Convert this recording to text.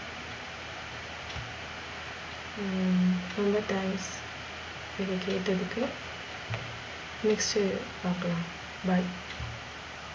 ரொம்ப thank இத கேட்டதுக்கு next பாக்கலாம், Bye.